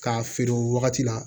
K'a feere o wagati la